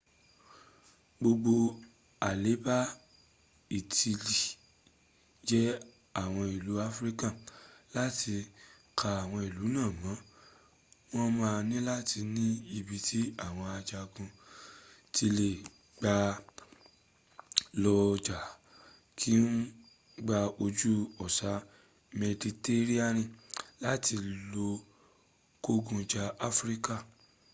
gbogbo aleba itili je awon ilu afirika lati ka awon ilu naa mo won maa nilati ni ibi ti awon ajagun ti le gba lo ja ki eon lr gba oju osa meditereniani lati lo kogun ja afirika